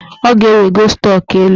Ọ ga-ewego stọk elu